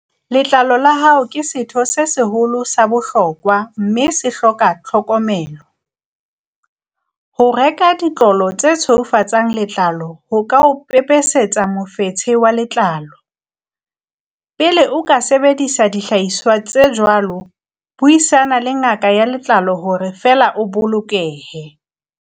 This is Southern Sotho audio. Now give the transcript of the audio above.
Letlalo la hao ke setho se seholo sa bohlokwa, mme se hloka tlhokomelo. Ho reka ditlolo tse tshweufatsang letlalo ho ka o pepesetsa mofetshe wa letlalo. Pele o ka sebedisa dihlahiswa tse jwalo, buisana le ngaka ya letlalo hore feela o bolokehe.